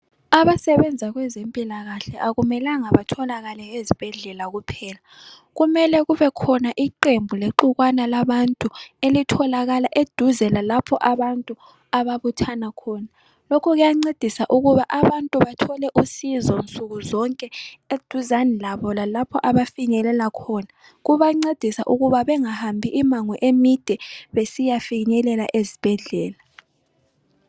Abasebenza kwezempilakahle akumelanga batholakale ezibhedlela kuphela kumele kubekhona iqembu lexukwana labantu elitholakala eduze lalapho abantu ababuthana khona. Lokhu kuyancedisa ukuba abantu bathole usizo nsukuzonke eduzane labo lalapho abafinyelela khona kubancedisa ukuthi bengahambi imango emide besiyafinyelela ezibhedlela.